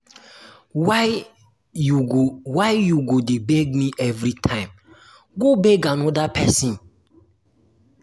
why you go why you go dey beg me everytime go beg another person